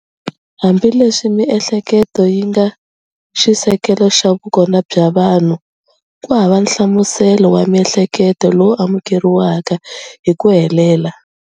Hambileswi miehleketo yi nga xisekelo xa vukona bya vanhu, ku hava nhlamuselo wa miehleketo lowu amukeriwaka hi ku helela.